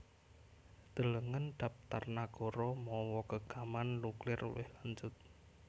Delengen dhaptar nagara mawa gegaman nuklir luwih lanjut